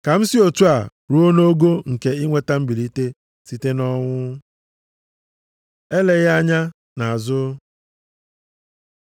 Ka m si otu a, ruo nʼogo nke inweta mbilite site nʼọnwụ. Eleghị anya nʼazụ